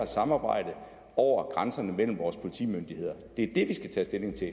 samarbejde over grænserne mellem vores politimyndigheder det er det vi skal tage stilling til